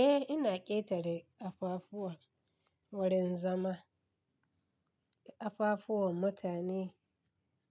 Eh ina ƙetare kafafuwa wurin zama. Kafafuwa mutane